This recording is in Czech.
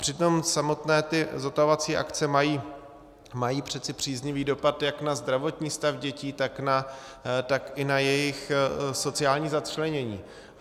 Přitom samotné ty zotavovací akce mají přece příznivý dopad jak na zdravotní stav dětí, tak i na jejich sociální začlenění.